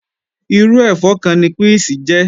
Irú ẹ̀fọ́ kan ni píìsì jẹ́